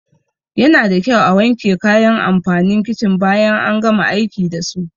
Yanada kyau a wanke kayan amfanin kicin bayan an gama aiki dasu.